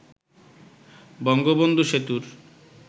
বঙ্গবন্ধু সেতুর